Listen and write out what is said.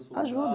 Ajuda